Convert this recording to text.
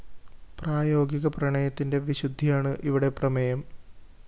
പ്രായോഗിക പ്രണയത്തിന്റെ വിശുദ്ധിയാണ് ഇവിടെ പ്രമേയം